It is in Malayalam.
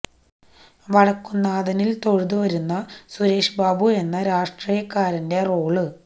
വടക്കുന്നാഥനില് തൊഴുതു വരുന്ന സുരേഷ് ബാബു എന്ന രാഷ്ട്രീയക്കാരന്റെ റോള്